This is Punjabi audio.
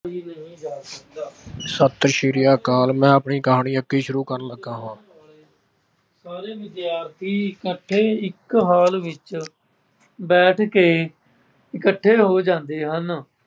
ਸਤਿ ਸ਼੍ਰੀ ਅਕਾਲ, ਮੈਂ ਆਪਣੀ ਕਹਾਣੀ ਅੱਗੇ ਸ਼ੁਰੂ ਕਰਨ ਲੱਗਾ ਵਾਂ, ਸਾਰੇ ਵਿਦਿਆਰਥੀ ਇਕੱਠੇ ਇੱਕ ਹਾਲ ਵਿੱਚ ਬੈਠ ਕੇ ਇਕੱਠੇ ਹੋ ਜਾਂਦੇ ਹਨ।